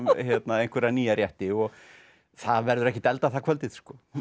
einhverja nýja rétti og það verður ekkert eldað það kvöldið